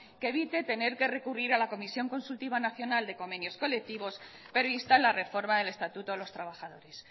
que evite tener que recurrir a la comisión consultiva nacional de convenios colectivos pero insta a la reforma del estatuto de los trabajadores